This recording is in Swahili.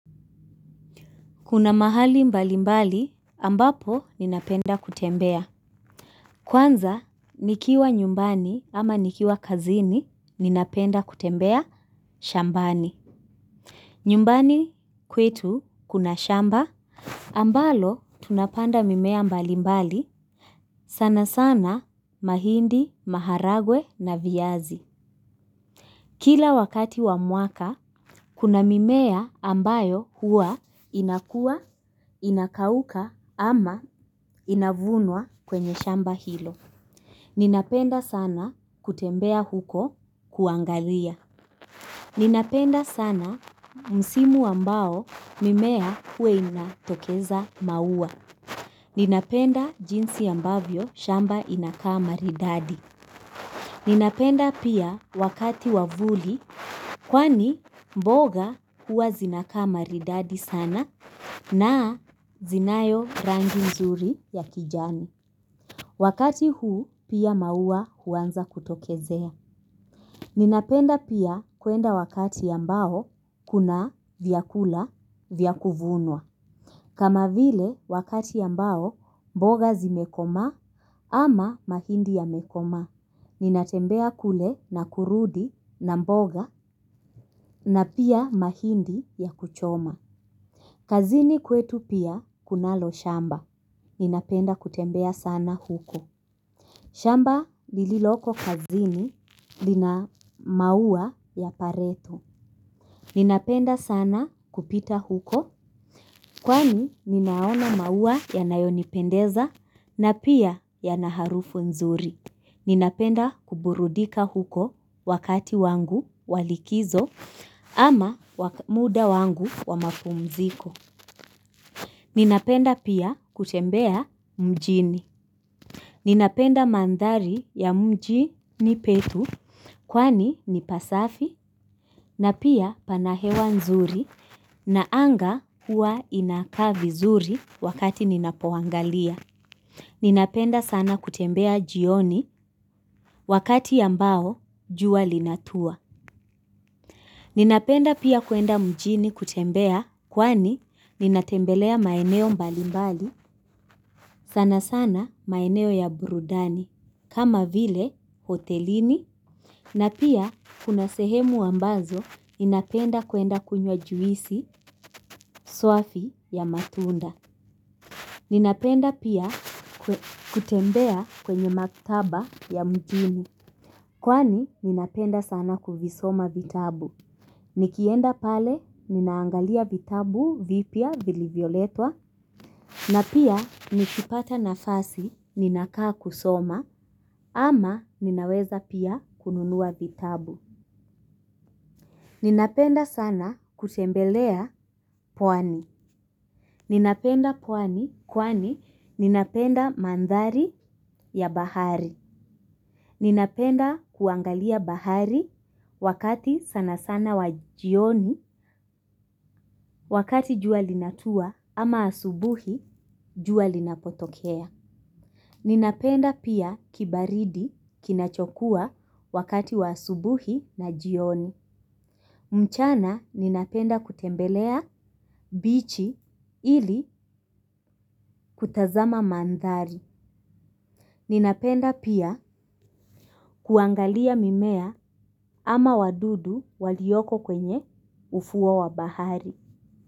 Kuna mahali mbali mbali ambapo ninapenda kutembea. Kwanza, nikiwa nyumbani ama nikiwa kazini, ninapenda kutembea shambani. Nyumbani kwetu kuna shamba. Ambalo, tunapanda mimea mbali mbali sana sana mahindi, maharagwe na viazi. Kila wakati wa mwaka, kuna mimea ambayo huwa inakua, inakauka ama inavunwa kwenye shamba hilo. Ninapenda sana kutembea huko kuangalia. Ninapenda sana msimu ambao mimea huwa inatokeza maua. Ninapenda jinsi ambavyo shamba inakaa maridadi. Ninapenda pia wakati wa vuli kwani mboga huwa zinakaa maridadi sana na zinayo rangi nzuri ya kijani. Wakati huu pia maua huanza kutokezea. Ninapenda pia kuenda wakati ambao kuna vyakula vya kuvunwa. Kama vile wakati ambao mboga zimekomaa ama mahindi yamekomaa. Ninatembea kule na kurudi na mboga na pia mahindi ya kuchoma. Kazini kwetu pia kunalo shamba. Ninapenda kutembea sana huko. Shamba lililoko kazini lina maua ya pareto. Ninapenda sana kupita huko. Kwani ninayaona maua yanayonipendeza na pia yana harufu nzuri. Ninapenda kuburudika huko wakati wangu wa likizo ama muda wangu wa mapumziko. Ninapenda pia kutembea mjini. Ninapenda maandhari ya mjini petu kwani ni pasafi na pia pana hewa nzuri na anga hua inaka vizuri wakati ninapoangalia. Ninapenda sana kutembea jioni wakati ambao jua linatua. Ninapenda pia kuenda mjini kutembea kwani ninatembelea maeneo mbali mbali sana sana maeneo ya burudani kama vile hotelini. Na pia kuna sehemu ambazo ninapenda kuenda kunywa juisi swafi ya matunda. Ninapenda pia kutembea kwenye maktaba ya mjini. Kwani ninapenda sana kuvisoma vitabu. Nikienda pale ninaangalia vitabu vipya vilivyoletwa. Na pia nikipata nafasi ninakaa kusoma ama ninaweza pia kununua vitabu. Ninapenda sana kutembelea pwani. Ninapenda pwani kwani ninapenda maandhari ya bahari. Ninapenda kuangalia bahari wakati sana sana wa jioni wakati jua linatua ama asubuhi jua linapotokea. Ninapenda pia kibaridi kinachokua wakati wa asubuhi na jioni. Mchana ninapenda kutembelea bichi ili kutazama maandhari. Ninapenda pia kuangalia mimea ama wadudu waliyoko kwenye ufuo wa bahari.